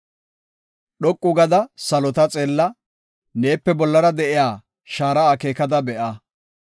Dhoqu gada salota xeella; neepe bollara de7iya shaara akeekada be7a.